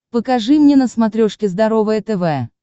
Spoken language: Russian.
покажи мне на смотрешке здоровое тв